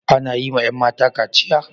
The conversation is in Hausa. Ana yi wa 'yan mata kachiya?